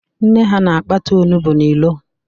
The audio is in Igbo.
Nne ha na-akpata ọnugbọ n'ịro